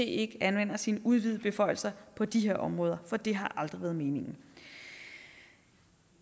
ikke anvender sine udvidede beføjelser på de her områder for det har aldrig været meningen